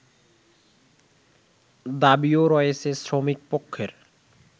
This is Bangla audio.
দাবীও রয়েছে শ্রমিকপক্ষের